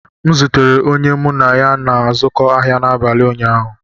M zutere onye mụ na ya na-azụkọ ahịa n'abalị ụnyaahụ